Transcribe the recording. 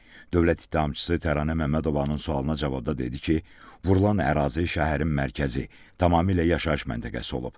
Dövlət ittihamçısı Təranə Məmmədovanın sualına cavabda dedi ki, vurulan ərazi şəhərin mərkəzi, tamamilə yaşayış məntəqəsi olub.